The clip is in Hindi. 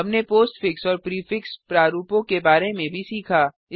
हमने पोस्टफिक्स और प्रीफिक्स प्रारूपों के बारे में भी सीखा